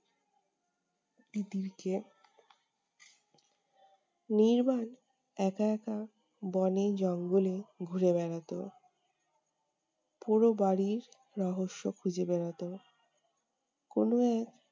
তিতিরকে। নির্বাণ একা একা বনে জঙ্গলে ঘুরে বেড়াতো। পোড়ো বাড়ির রহস্য খুঁজে বেড়াতো। কোনো এক